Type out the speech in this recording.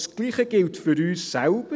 Das Gleiche gilt für uns selbst.